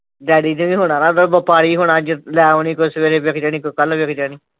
Daddy ਨੇ ਵੀ ਹੁਣ ਆਉਣਾ ਹੁੰਦਾ । ਅਗੋ ਪਾਣੀ ਹੋਣਾ ਅੱਜ ਲੈ ਆਉਣੀ ਕੋਈ ਸਵੇਰੇ ਵਿੱਕ ਜਾਣੀ ਕੋਈ ਕੱਲ ਵਿੱਕ ਜਾਉਣੀ